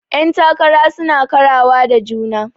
Yan takara suna karawa da juna.